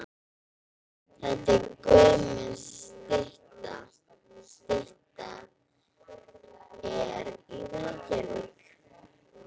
Þetta er gömul stytta. Styttan er í Reykjavík.